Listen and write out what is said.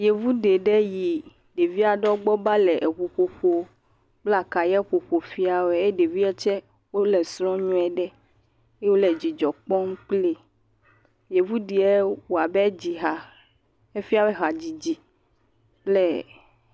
Yevu ɖeɖe yi ɖevi aɖewo gbɔ va le eŋu ƒoƒo kple akaya ƒoƒo fia wɔe eye ɖevia tse wo le srɔ̃ nyuie ɖe. Wo le dzidzɔ kpɔm kpli. Yevu ɖee wɔ be dzɔ ha efia be hadzidzi le.